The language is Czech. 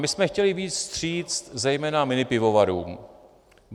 My jsme chtěli vyjít vstříc zejména minipivovarům.